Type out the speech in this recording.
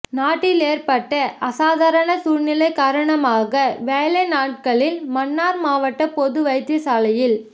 நாட்டில் ஏற்பட்ட அசாதாரண சூழ்நிலை காரணமாக வேலை நாட்களில் மன்னார் மாவட்ட பொது வைத்தியசாலையில்